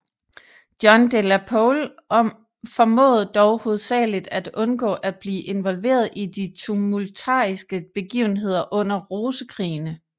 John de la Pole formåede dog hovedsageligt at undgå at blive involveret i de tumultariske begivenheder under Rosekrigene